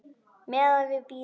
Meðan við bíðum.